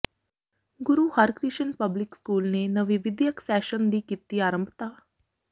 ਗੁਰੂ Harkrishan public school ਨੇ ਨਵੇਂ ਵਿੱਦਿਅਕ ਸੈਸ਼ਨ ਦੀ ਕੀਤੀ ਆਰੰਭਤਾ